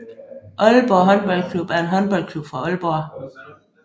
Aalborg HK er en håndboldklub fra Aalborg